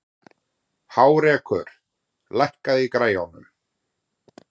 Hárekur, lækkaðu í græjunum.